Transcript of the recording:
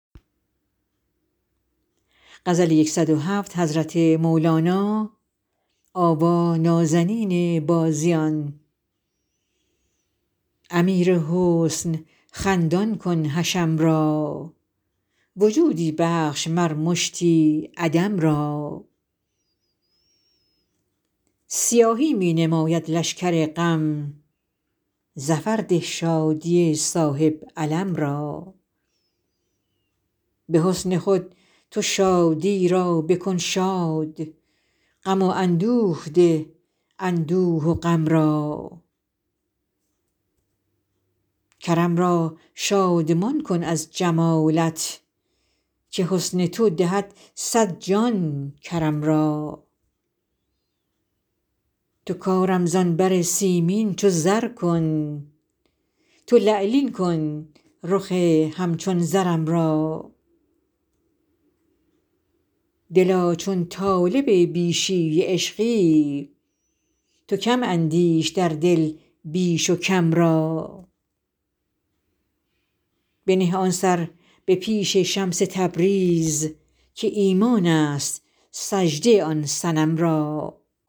امیر حسن خندان کن حشم را وجودی بخش مر مشتی عدم را سیاهی می نماید لشکر غم ظفر ده شادی صاحب علم را به حسن خود تو شادی را بکن شاد غم و اندوه ده اندوه و غم را کرم را شادمان کن از جمالت که حسن تو دهد صد جان کرم را تو کارم زان بر سیمین چو زر کن تو لعلین کن رخ همچون زرم را دلا چون طالب بیشی عشقی تو کم اندیش در دل بیش و کم را بنه آن سر به پیش شمس تبریز که ایمان ست سجده آن صنم را